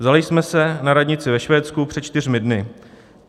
Vzaly jsme se na radnici ve Švédsku před čtyřmi dny.